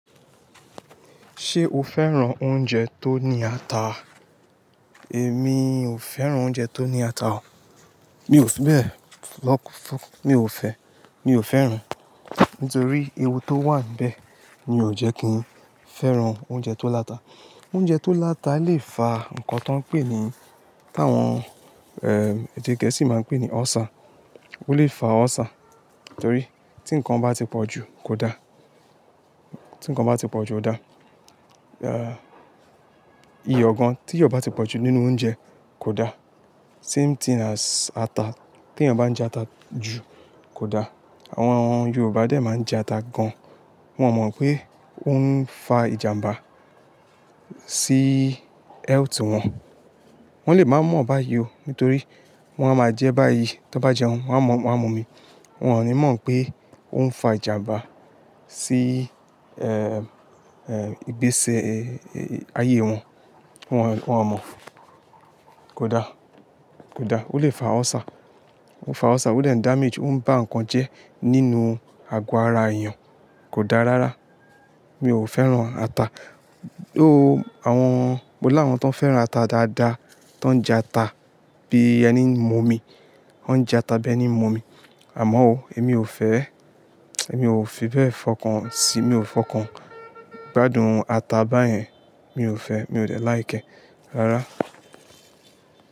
Ṣé o fẹ́ràn oúnjẹ tó ní ata? Èmi ò fẹ́ràn oúnjẹ tó ní ata o. Mi ò fi bẹ́ẹ̀ lọ́k-fún, mi ò fẹ́, mi ò fẹ́ràn. Nítorí ewu tó wà nbẹ̀ ni ò jẹ́ kí n fẹ́ràn oúnjẹ tó láta. Oúnjẹ tó láta lè fa nǹkan tó ń pè ní, tá wọn, eh, èdè gẹ̀ẹ́sì máa ń pè ní ulcer. Ó lè fa ulcer, torí tí nǹkan bá ti pọ̀ jù kò da. Ti nǹkan bá ti pọ̀ jù ò da. Eh, iyọ̀ gan, tí ìyọ̀ bá ti pọ̀jù nínú oúnjẹ kò da. Same thing as ata. Tí ẹyàn bá jẹ ata jù kò da. Àwọn Yorùbá dẹ̀ máa ń jẹ ata gan-an. Wọn mọ̀ pé ó ń fa ìjàmbá sí health wọn. Wọ́n lè má mọ̀ ọ́ báyìí o, nítorí wọ́n a máa jẹ́ báyìí. Tí wọ́n bá jẹun, wọ́n á mọ̀, wọ́n á mọ̀ omi. Wọn ò ní mọ̀ pé ó ń fa ìjàmbá sí, eh, eh, ìgbésí ayé wọn. Wọn, wọn mọ̀. Kò da, kò da. Ó lè fa ulcer. Ó lè fa ulcer, ó n de damage, ó ń ba nǹkan jẹ́ nínú àgọ́ ara èèyàn. Kò da rárá. Mi ò fẹ́ràn ata. Ooh, àwọn, mo làwọn tó fẹ́ràn ata dáadáa, tó ń jẹ ata bí ẹni ń mu omi. Wọ́n ń jẹ ata bí ẹni ń mu omi. Àmọ́ o, èmi ò fẹ́, èmi ò fi bẹ́ẹ̀ fọkàn síi, mi ò fọkàn gbádùn ata báyẹn. Mi ò fẹ́, mi ò dẹ̀ like e rárá.